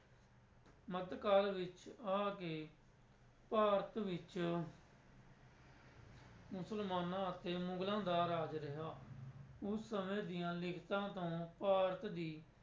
ਮੱਧ ਕਾਲ ਵਿੱਚ ਆ ਕੇ ਭਾਰਤ ਵਿੱਚ ਮੁਸਲਮਾਨਾਂ ਅਤੇ ਮੁਗ਼ਲਾਂ ਦਾ ਰਾਜ ਰਿਹਾ, ਉਸ ਸਮੇਂ ਦੀਆਂ ਲਿਖਤਾਂ ਤੋਂ ਭਾਰਤ ਦੀ